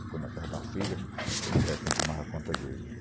Ficou na casa de uma filha, que era quem tomava conta dele.